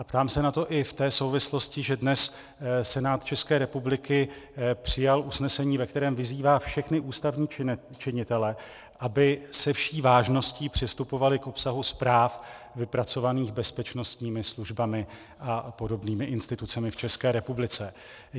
A ptám se na to i v té souvislosti, že dnes Senát České republiky přijal usnesení, ve kterém vyzývá všechny ústavní činitele, aby se vší vážností přistupovali k obsahu zpráv vypracovaných bezpečnostními službami a podobnými institucemi v České republice.